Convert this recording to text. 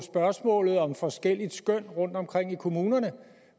spørgsmålet om forskellige skøn rundtomkring i kommunerne